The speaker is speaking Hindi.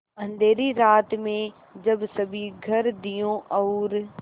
अँधेरी रात में जब सभी घर दियों और